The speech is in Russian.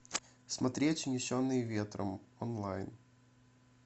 смотреть унесенные ветром онлайн